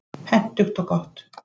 Hentugt og gott.